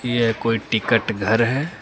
यह कोई टिकट घर है।